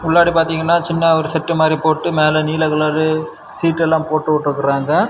முன்னாடி பாத்தீங்கன்னா சின்ன ஒரு செட்டு மாதி போட்டு மேல நீல கலரு ஷீட் எல்லா போடுட்ருக்காங்க.